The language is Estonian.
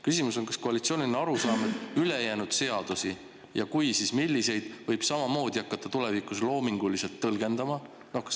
Küsimus on: kas koalitsioonil on arusaam, et ülejäänud seadusi ja kui, siis milliseid, võib samamoodi hakata tulevikus loominguliselt tõlgendama?